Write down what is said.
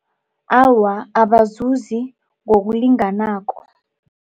Awa, abazuzi ngokulinganako.